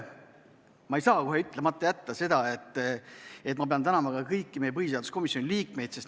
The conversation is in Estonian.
Ma ei saa kohe ütlemata jätta seda, et ma pean tänama ka kõiki põhiseaduskomisjoni liikmeid.